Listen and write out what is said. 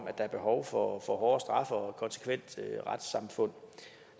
at der er behov for hårde straffe og et konsekvent retssamfund